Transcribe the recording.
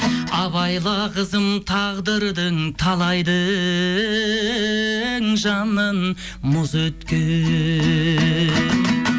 абайла қызым тағдырдың талайдың жанын мұз еткен